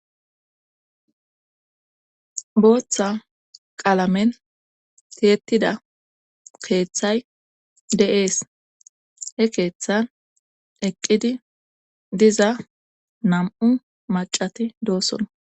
Booththa qaalamen tiyettida keeththay de7ees he keeththan eqqidi diza nam7u macati doosona